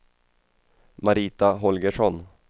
Marita Holgersson